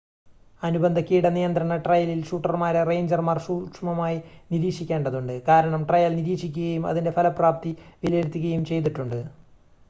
അനുബന്ധ കീട നിയന്ത്രണ ട്രയലിൽ ഷൂട്ടർമാരെ റേഞ്ചർമാർ സൂക്ഷ്മമായി നിരീക്ഷിക്കേണ്ടതുണ്ട് കാരണം ട്രയൽ നിരീക്ഷിക്കുകയും അതിൻ്റെ ഫലപ്രാപ്തി വിലയിരുത്തുകയും ചെയ്തിട്ടുണ്ട്